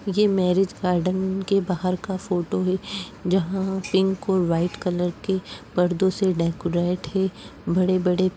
ये marriage garden के बाहर का फोटो है जहाँ पिंक और वाइट कलर के पर्दों से डेकोरेट है बड़े बड़े --